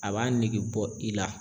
A b'a nege bɔ i la